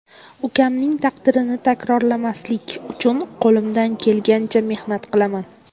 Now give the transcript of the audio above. Ukamning taqdirini takrorlamaslik uchun qo‘limdan kelgancha mehnat qilaman.